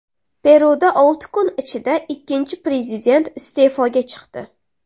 Peruda olti kun ichida ikkinchi prezident iste’foga chiqdi.